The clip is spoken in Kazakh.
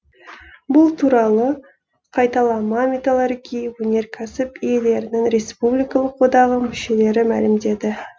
бұл туралы қайталама металлургия өнеркәсіп иелерінің республикалық одағы мүшелері мәлімдеді